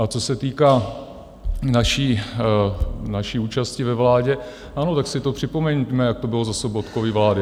A co se týká naší účasti ve vládě, ano, tak si to připomeňme, jak to bylo za Sobotkovy vlády.